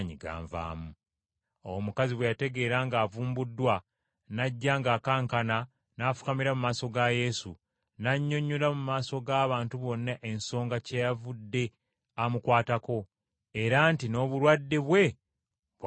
Awo omukazi bwe yategeera ng’avumbuddwa, n’ajja ng’akankana n’agwa awo mu maaso ga Yesu, n’annyonnyola mu maaso g’abantu bonna ensonga kyeyavudde amukwatako, era nti n’obulwadde bwe bwawoneddewo!